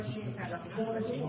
Təqvalı.